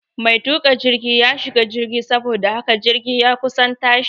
Mai tuka jirgi ya shiga jirgi saboda haka jirgi ya kusan tashi